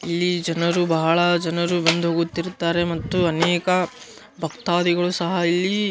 ಇಲ್ಲಿ ಜನರು ಬಹಳ ಜನರು ಬಂದು ಹೋಗುತ್ತಿರುತ್ತಾರೆ ಮತ್ತು ಅನೇಕ ಭಕ್ತತಾದಿಗಳು ಸಹ ಇಲ್ಲಿ --